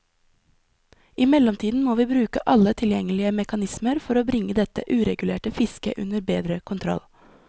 I mellomtiden må vi bruke alle tilgjengelige mekanismer for bringe dette uregulerte fisket under bedre kontroll.